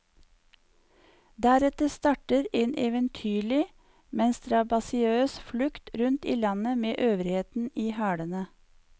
Deretter starter en eventyrlig, men strabasiøs flukt rundt i landet med øvrigheten i hælene.